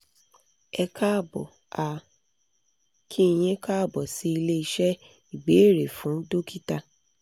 ẹ káàbọ̀ a kí yín káàbọ̀ sí ilé iṣẹ́ ìbéèrè fún dókítà